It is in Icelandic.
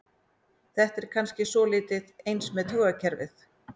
Þetta er kannski svolítið eins með taugakerfið.